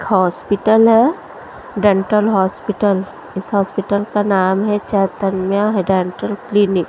Hospital है dental hospital इस hospital का नाम है चैतन्या डेंटल क्लिनिक ।